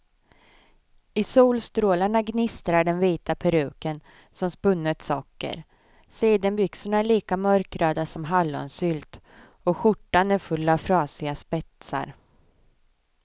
I solstrålarna gnistrar den vita peruken som spunnet socker, sidenbyxorna är lika mörkröda som hallonsylt och skjortan är full av frasiga spetsar.